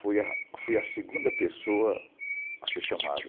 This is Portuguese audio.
Fui a fui a segunda pessoa a ser chamada.